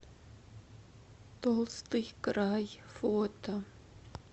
толстый край фото